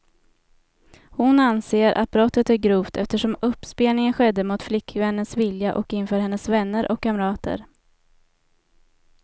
Hon anser att brottet är grovt, eftersom uppspelningen skedde mot flickvännens vilja och inför hennes vänner och kamrater.